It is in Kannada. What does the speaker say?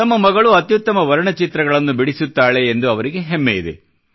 ತಮ್ಮ ಮಗಳು ಅತ್ಯುತ್ತಮ ವರ್ಣ ಚಿತ್ರಗಳನ್ನು ಬಿಡಿಸುತ್ತಾಳೆ ಎಂದು ಅವರಿಗೆ ಹೆಮ್ಮೆ ಇದೆ